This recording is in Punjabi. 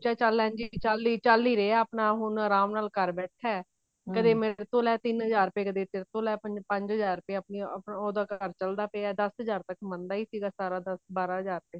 ਚਾਹੇ ਚੱਲ ਚੱਲ ਹੀ ਰਿਹਾ ਆਪਣਾ ਤਾਂ ਹੁਣ ਆਰਾਮ ਨਾਲ ਘਰ ਬੈਠਾ ਕਦੇ ਮੇਰੇ ਤੋਂ ਲੈ ਤਿੰਨ ਹਜ਼ਾਰ ਰੁਪੇ ਕਦੇ ਤੇਰੇ ਤੋਂ ਲੈ ਪੰਜ ਹਜ਼ਾਰ ਰੁਪੇ ਆਪਣੀ ਉਹ ਉਹਦਾ ਘਰ ਚਲਦਾ ਪਿਆ ਦਸ ਹਜ਼ਾਰ ਤਾਂ ਕਮਾਉਂਦਾ ਹੀ ਸੀ ਦਸ ਬਾਰਾਂ ਹਜ਼ਾਰ